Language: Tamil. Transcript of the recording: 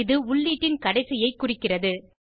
இது உள்ளீட்டின் கடைசியை குறிக்கிறது